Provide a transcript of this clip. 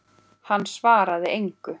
Hann svaraði engu.